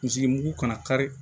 Misi mugu kana